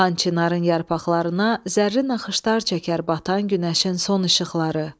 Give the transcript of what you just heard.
Xan Çinarın yarpaqlarına zərri naxışlar çəkər batan günəşin son işıqları.